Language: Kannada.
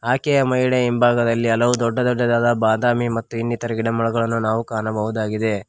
ಆಕೆಯ ಮಹಿಳೆ ಹಿಂಭಾಗದಲ್ಲಿ ಹಲವು ದೊಡ್ಡ ದೊಡ್ಡದಾದ ಬಾದಾಮಿ ಮತ್ತೆ ಇನ್ನಿತರ ಗಿಡಮರಗಳನ್ನು ನಾವು ಕಾಣಬಹುದಾಗಿದೆ.